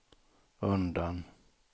undan